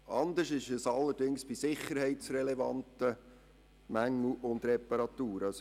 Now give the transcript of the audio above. Anders verhält es sich allerdings bei sicherheitsrelevanten Mängeln und Reparaturen.